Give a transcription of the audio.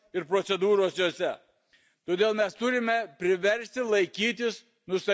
Todėl mes turime priversti laikytis nustatytų mūsų standartų.